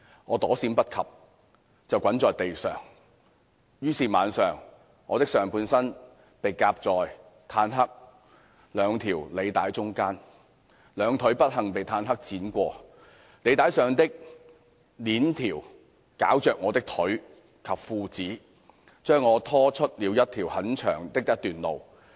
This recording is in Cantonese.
我躲閃不及，便滾在地上，但是晚了；我的上半身被夾在坦克兩條履帶中間，兩腿不幸被坦克輾過，履帶上的鏈條絞着我的腿及褲子，將我拖出了很長的一段路。